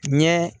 Ɲɛ